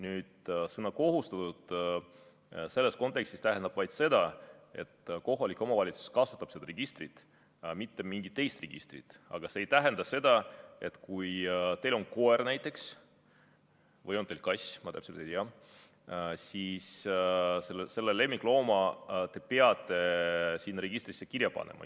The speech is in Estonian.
Nüüd, sõna "kohustatud" selles kontekstis tähendab vaid seda, et kohalik omavalitsus kasutab just seda registrit, mitte mingit teist registrit, aga see ei tähenda seda, et kui näiteks teil on koer või on teil kass, ma täpselt ei tea, siis selle lemmiklooma te peate sinna registrisse kirja panema.